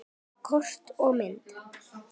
Kort og myndir